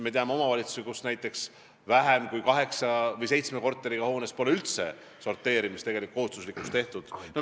Me teame omavalitsusi, kus näiteks vähem kui seitsme korteriga hoones pole üldse sorteerimist kohustuslikuks tehtud.